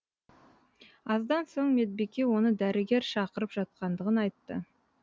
аздан соң медбике оны дәрігер шақырып жатқандығын айтты